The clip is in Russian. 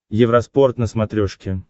евроспорт на смотрешке